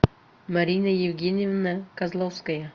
марина евгеньевна козловская